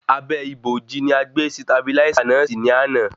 Abẹ́ ìbòji ni a gbé sitabiláísà náà si ní àná